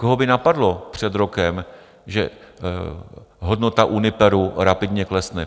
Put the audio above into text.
Koho by napadlo před rokem, že hodnota Uniperu rapidně klesne?